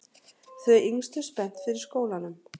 Þau yngstu spennt fyrir skólanum